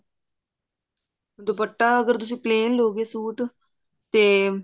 ਦੁਪੱਟਾ ਅਗਰ ਤੁਸੀਂ plan ਲਉਗੇ ਸੂਟ ਤੇ